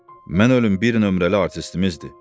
Mən ölüm, bir nömrəli artistimizdir.